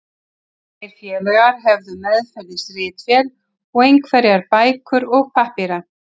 Þeir félagar höfðu meðferðis ritvél og einhverjar bækur og pappíra.